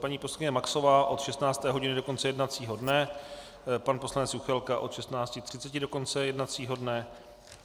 Paní poslankyně Maxová od 16. hodiny do konce jednacího dne, pan poslanec Juchelka od 16.30 do konce jednacího dne.